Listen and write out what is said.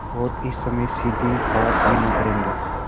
और इस समय सीधे बात भी न करेंगे